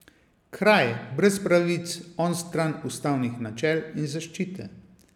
Kraj brez pravic, onstran ustavnih načel in zaščite.